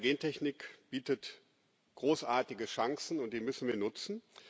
Die moderne Gentechnik bietet großartige Chancen, und die müssen wir nutzen.